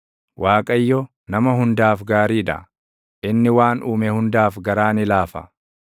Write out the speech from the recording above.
Waaqayyo, nama hundaaf gaarii dha; inni waan uume hundaaf garaa ni laafa.